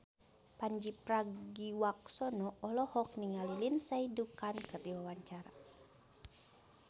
Pandji Pragiwaksono olohok ningali Lindsay Ducan keur diwawancara